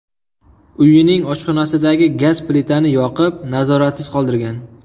uyining oshxonasidagi gaz plitani yoqib, nazoratsiz qoldirgan.